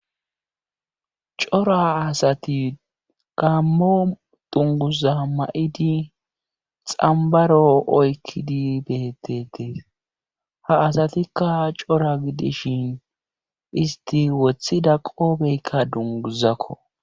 Cora assati gaammo dungguza ma7idi xambbaro oykkidi beeteettees ha asatikka cora gidishin istti wothida qoofeyka dungguzako.